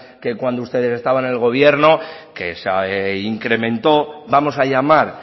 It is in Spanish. que cuando ustedes estaban en el gobierno que se incrementó vamos a llamar